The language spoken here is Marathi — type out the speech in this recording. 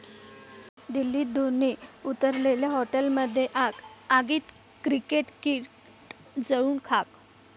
दिल्लीत धोनी उतरलेल्या हॉटेलमध्ये आग, आगीत क्रिकेट किट जळून खाक